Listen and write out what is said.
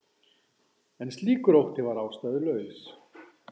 En slíkur ótti var ástæðulaus.